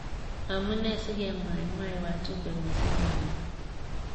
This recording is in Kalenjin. Amu nee si kemwai mwai wajumbe mising kenyini.